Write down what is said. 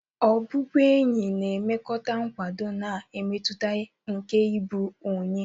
Obubuenyi na enye mmekota nkwado, na mmetụta nke ịbụ onye.